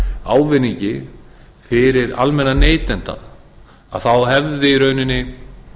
ávinningi fyrir almenna neytendur þá hefði í rauninni